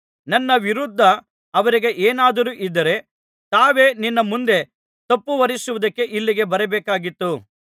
ನನ್ನ ವಿರುದ್ಧ ಅವರಿಗೆ ಏನಾದರೂ ಇದ್ದರೆ ತಾವೇ ನಿನ್ನ ಮುಂದೆ ತಪ್ಪುಹೊರಿಸುವುದಕ್ಕೆ ಇಲ್ಲಿಗೆ ಬರಬೇಕಾಗಿತ್ತು